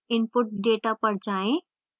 input data पर जाएँ